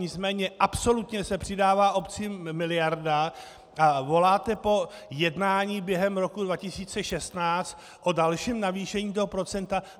Nicméně absolutně se přidává obcím miliarda a voláte po jednání během roku 2016 o dalším navýšení toho procenta.